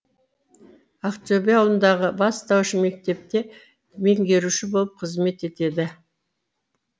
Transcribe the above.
ақтөбе ауылындағы бастауыш мектепте меңгеруші болып қызмет етеді